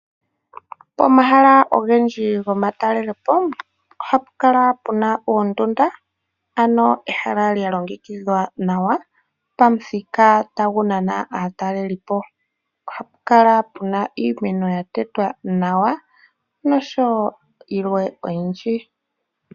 Pomahala ogendji gomatalelepo ohapu kala pena oondunda ano ehala lya longekidhwa nawa pamuthika tagu nana aatalelipo. Ohapu kala pena iimeno ya tetwa nawa noshowo yilww oyindji .